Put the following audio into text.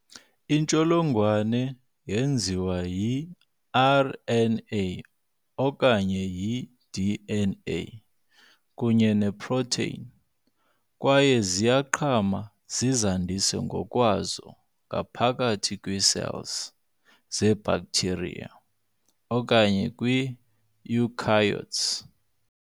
Iintsholongwane zenziwa y-i-RNA, okanye i-DNA, kunye ne-protein, kwaye ziyaqhama zizandise ngokwazo ngaphakathi kwii-cells ze-bacteria okanye kwi-eukaryotes.